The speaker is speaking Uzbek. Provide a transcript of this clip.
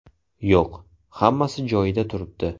Yo‘q, hammasi joyida turibdi.